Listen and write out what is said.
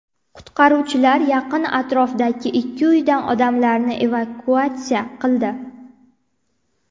Qutqaruvchilar yaqin atrofdagi ikki uydan odamlarni evakuatsiya qildi.